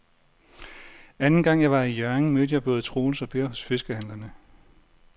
Anden gang jeg var i Hjørring, mødte jeg både Troels og Per hos fiskehandlerne.